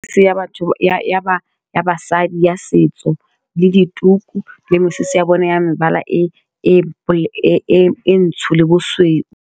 Seya batho ya basadi ya setso le dituku le mesese ya bone ya mebala e ntsho le bosweu.